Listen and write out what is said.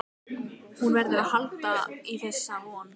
Hún verður að halda í þessa von.